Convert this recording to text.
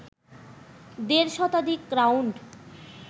দেড় শতাধিক রাউন্ড